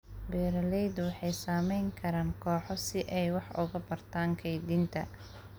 Beeraleydu waxay samayn karaan kooxo si ay wax uga bartaan kaydinta.